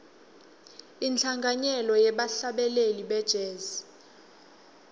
inhlanganyelo yebahlabeleli be jazz